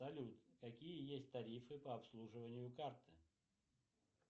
салют какие есть тарифы по обслуживанию карты